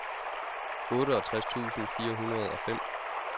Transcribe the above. otteogtres tusind fire hundrede og fem